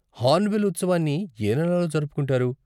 Hornbill ఉత్సవాన్ని ఏ నెలలో జరుపుకుంటారు?